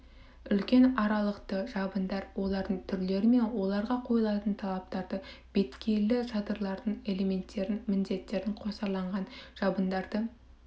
үлкен аралықты жабындар олардың түрлері мен оларға қойылатын талаптарды беткейлі шатырлардың элементтерінің міндеттерін қосарланған жабындарды